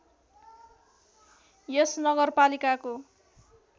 यस नगरपालिकाको